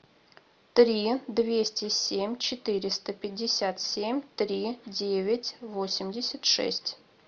три двести семь четыреста пятьдесят семь три девять восемьдесят шесть